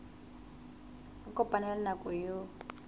a kopane le nako eo